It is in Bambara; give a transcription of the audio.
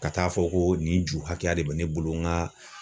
Ka taa fɔ ko nin ju hakɛya de bɛ ne bolo n ka